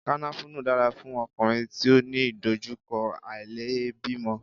Kànáfùrú dára fún ọkùnrin tí ó ní ìdojúkọ àìlèbímọ.